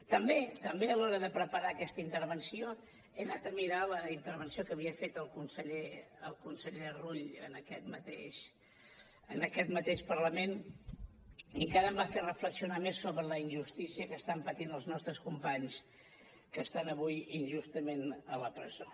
també també a l’hora d’anar a preparar aquesta intervenció he anat a mirar la intervenció que havia fet el conseller rull en aquest mateix parlament i encara em va fer reflexionar més sobre la injustícia que estan patint els nostres companys que estan avui injustament a la presó